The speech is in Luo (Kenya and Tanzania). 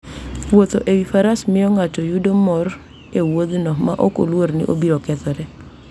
Wuotho e wi faras miyo ng'ato yudo mor e wuodhno maok oluor ni obiro kethore.